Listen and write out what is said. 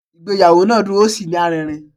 Ìgbéyàwó náà dùn ó sí ní aririn